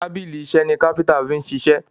tábìlì iṣe ní kápẹ́ńtà fí ṣiṣe.